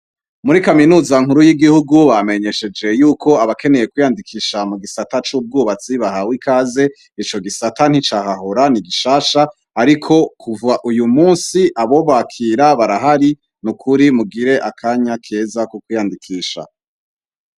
Muri kaminuza nkuru y'igihugu, bamenyesheje ko abakeneye kwiyandikisha mu gisata c'ubwubatsi bahawe ikaze, ico gisata nticahahora ni gishasha, ariko kuva uyu munsi abobakira barahari, ni ukuri mugire akanya keza ko kwiyandikisha.